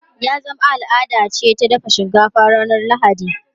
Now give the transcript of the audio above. Ya zama al’ada ce ta dafa shinkafa ranar Lahadi.